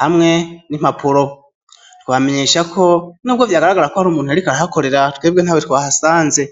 hamwe n'impapuro ,twobamenyeshako nubwo vyagaragara ko hari umuntu yarikara hakorera twebwe ntawe twahasanze.